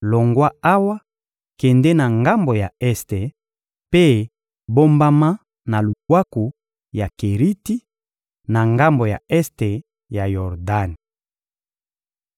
— Longwa awa, kende na ngambo ya este mpe bombama na lubwaku ya Keriti, na ngambo ya este ya Yordani.